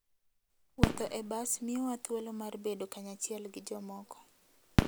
Wuotho e bas miyowa thuolo mar bedo kanyachiel gi jomoko.